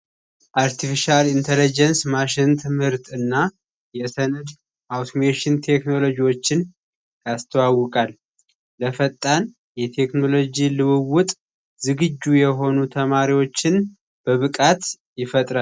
አርተፊሻል ኢንተለጀንስ ማሽን ትምህርት እና የሰነ ቴክኖሎጂዎችን አስተዋውቃል የቴክኖሎጅ ልውውጥ ዝግጁ የሆኑ ተማሪዎችን በብቃት ይፈጥራል